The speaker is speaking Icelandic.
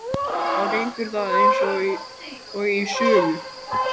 Þá gengur það eins og í sögu.